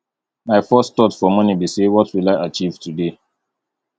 my first thought for morning be say what will i achieve today